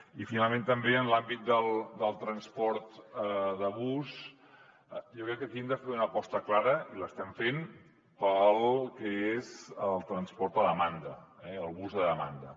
i finalment també en l’àmbit del transport de bus jo crec que aquí hem de fer una aposta clara i l’estem fent pel que és el transport a demanda el bus a demanda